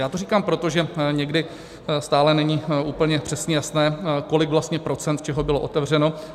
Já to říkám proto, že někdy stále není úplně přesně jasné, kolik vlastně procent čeho bylo otevřeno.